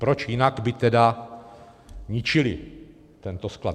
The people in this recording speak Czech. Proč jinak by tedy ničili tento sklad?